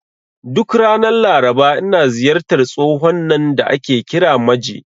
Duk ranar Laraba, ina ziyartar tsohon nan da ake kira Maje.